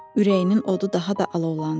Ürəyinin odu daha da alovlandı.